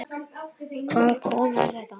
Hvaða kona er þetta?